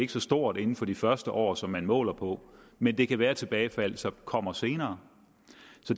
så stort inden for de første år som man måler på men det kan være at tilbagefaldet så kommer senere